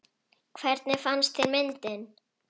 Hvernig fannst þér myndin?